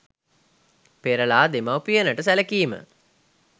පෙරලා දෙමවුපියනට සැලකීම